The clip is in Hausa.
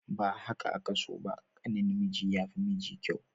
Ba haka aka so ba, ƙanin miji ya fi miji kyau.